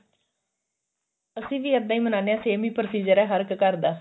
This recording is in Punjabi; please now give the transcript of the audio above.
ਅਸੀਂ ਵੀ ਇੱਦਾਂ ਹੀ ਮਨਾਉਂਦੇ ਆਂ same ਹੀ procedure ਆ ਹਾਰ ਇੱਕ ਘਰ ਦਾ